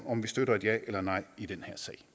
om vi støtter et ja eller et nej i den